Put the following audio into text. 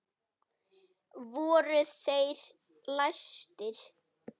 Voru þeir læstir.